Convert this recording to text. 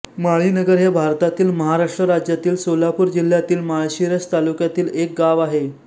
माळीनगर हे भारतातील महाराष्ट्र राज्यातील सोलापूर जिल्ह्यातील माळशिरस तालुक्यातील एक गाव आहे